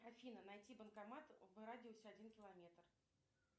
афина найти банкомат в радиусе один километр